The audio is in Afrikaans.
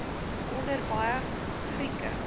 onder baie grieke